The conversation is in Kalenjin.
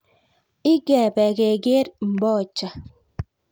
Ikebe keker mbocha